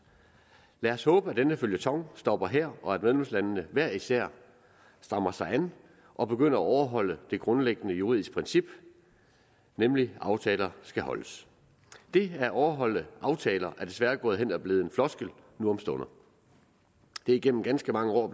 lad os håbe at denne føljeton stopper her og at medlemslandene hver især strammer sig an og begynder at overholde det grundlæggende juridiske princip nemlig at aftaler skal holdes det at overholde aftaler er desværre gået hen og blevet en floskel nu om stunder det er igennem ganske mange år